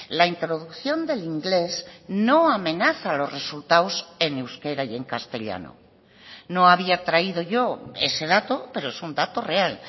la introducción del inglés no amenaza los resultados en euskera y en castellano no había traído yo ese dato pero es un dato real